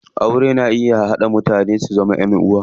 Aure na iya haɗa mutane su zama ƴan uwa.